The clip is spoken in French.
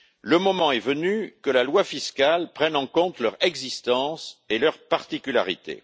Le moment est venu que la loi fiscale prenne en compte leur existence et leurs particularités.